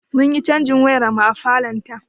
Munyi cajin wayar mu a falon ta